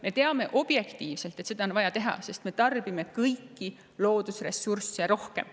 Me teame objektiivselt, et seda on vaja teha, sest me tarbime kõiki loodusressursse rohkem.